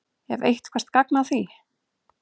Er eitthvert gagn að því?